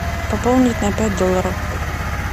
пополнить на пять долларов